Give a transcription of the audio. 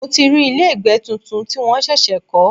Mo ti rí ilé ìgbẹ́ tuntun tí wọ́n ṣẹ̀ṣẹ̀ kọ́.